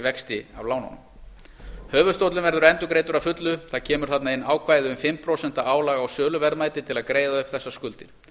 vexti af lánunum höfuðstóllinn verður endurgreiddur að fullu það kemur þarna inn ákvæði um fimm prósent álag á söluverðmæti til að greiða upp þessar skuldir